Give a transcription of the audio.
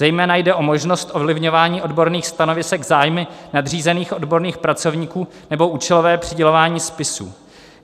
Zejména jde o možnost ovlivňování odborných stanovisek zájmy nadřízených odborných pracovníků nebo účelové přidělování spisů.